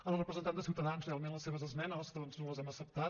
a la representant de ciutadans realment les seves esmenes doncs no les hem acceptat